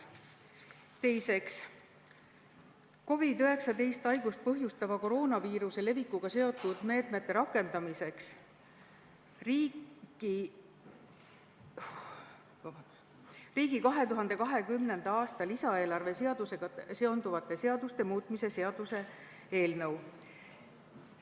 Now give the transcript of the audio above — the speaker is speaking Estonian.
Teiseks, COVID-19 haigust põhjustava koroonaviiruse levikuga seotud meetmete rakendamiseks riigi 2020. aasta lisaeelarve seadusega seonduvate seaduste muutmise seaduse eelnõu.